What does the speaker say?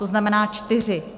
To znamená čtyři.